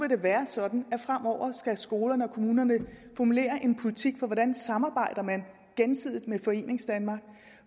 det være sådan at skolerne og kommunerne formulerer en politik for hvordan de samarbejder med foreningsdanmark